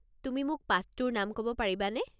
তুমি মোক পাঠটোৰ নাম ক'ব পাৰিবানে?